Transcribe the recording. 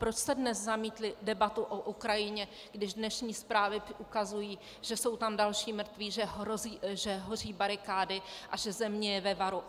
Proč jste dnes zamítli debatu o Ukrajině, když dnešní zprávy ukazují, že jsou tam další mrtví, že hoří barikády a že země je ve varu?